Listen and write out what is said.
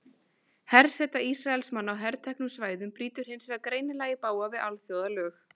Herseta Ísraelsmanna á herteknu svæðunum brýtur hins vegar greinilega í bága við alþjóðalög.